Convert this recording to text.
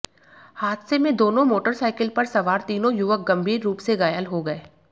हादसे में दोनों मोटरसाइकिल पर सवार तीनों युवक गंभीर रूप से घायल हो गए